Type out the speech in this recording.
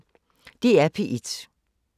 DR P1